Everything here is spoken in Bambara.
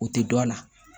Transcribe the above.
O tɛ dɔn a la